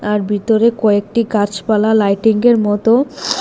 তার ভিতরে কয়েকটি গাছপালা লাইটিং এর মত।